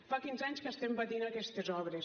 fa quinze anys que estem patint aquestes obres